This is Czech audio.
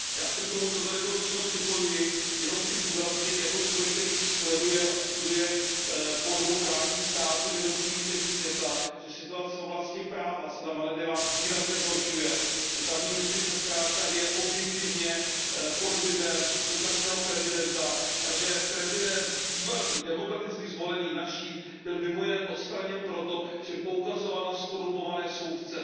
Já se k tomu, co tady bylo řečeno připojuji, jenom chci zdůraznit jako člověk, který sleduje a studuje podobu právních států v jednotlivých zemích světa, že situace v oblasti práva se na Maledivách výrazně zhoršuje, že tamní justice je zkrátka objektivně pod vlivem současného prezidenta a že bývalý demokraticky zvolený prezident Našíd byl mimo jiné odstraněn proto, že poukazoval na zkorumpované soudce.